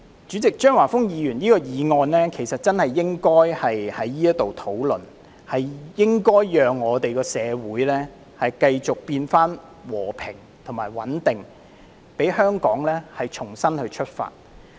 主席，張華峰議員的議案真的應該在現時進行討論，從而讓社會回復和平與穩定，使香港可以重新出發。